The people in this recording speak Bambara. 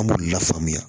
An b'olu lafaamuya